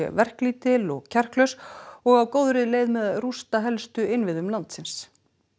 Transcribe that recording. verklítil og kjarklaus og á góðri leið með að rústa helstu innviðum landsins